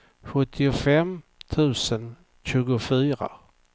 sjuttiofem tusen tjugofyra